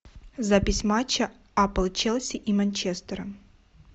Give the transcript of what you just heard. запись матча апл челси и манчестера